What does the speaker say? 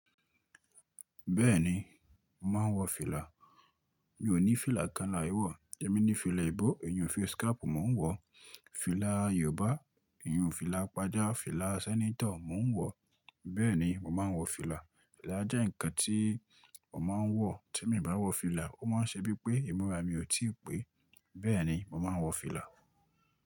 Bẹ́ẹ̀ni, mo màá n wọ fìlà. Mi ò ní fìlà kan láì wọ̀. Emi ní fìlà ìbó, ìyùn face cap mò ń wọ̀, fìlà Yorùbá, ìyùn fìlà pàjá, fìlà sẹ́nétọ̀ mò ń wọ̀, bẹ́ẹ̀ni mò máa ń wọ fìlà. Ìlà jẹ́ ǹnkan tí mò máa ń wọ̀. Tí mi bá wọ fìlà, ó máa ń ṣe bíi pé ìmúra mi ò tíì pé. Bẹ́ẹ̀ni, mò máa ń wọ fìlà.